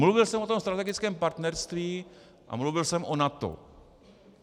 Mluvil jsem o tom strategickém partnerství a mluvil jsem o NATO.